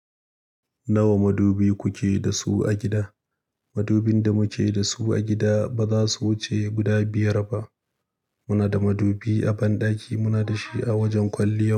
Nawa madubi kuke da su a gida? Madubin da muke da su a gida ba za su wuce guda biyar ba. Muna da madubi a banɗaki, muna da shi a wajen kwalliya.